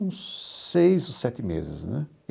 Uns seis ou sete meses, né?